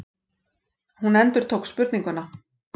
Hún endurtók spurninguna.